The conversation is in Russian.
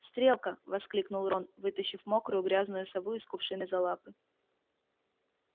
стрелка воскликнул рон вытащив мокрую грязную сову из кувшина за лапы